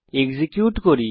execute করি